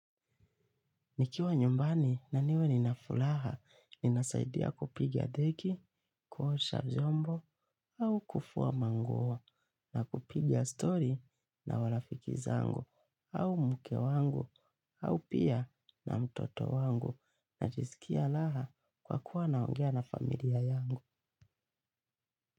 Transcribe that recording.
Nikiwa nyumbani na niwe nina furaha ninasaidia kupiga deki kuosha vymbo, au kufua manguo na kupiga story na marafiki zangu au mke wangu au pia na mtoto wangu najiskia raha kwa kuwa naongea na familia yangu.